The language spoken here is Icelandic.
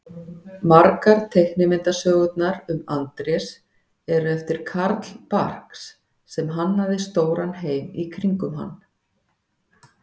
Margar teiknimyndasögurnar um Andrés eru eftir Carl Barks sem hannaði stóran heim í kringum hann.